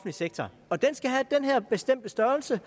sektor og den skal have den her bestemte størrelse